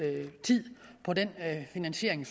på den investering